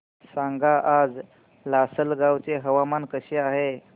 सांगा आज लासलगाव चे हवामान कसे आहे